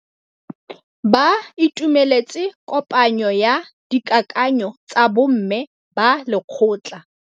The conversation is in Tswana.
Ba itumeletse kôpanyo ya dikakanyô tsa bo mme ba lekgotla.